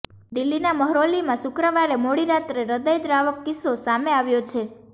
દિલ્હીનાં મહરૌલીમાં શુક્રવારે મોડી રાતે હૃદયદ્વાવક કિસ્સો સામે આવ્યો છે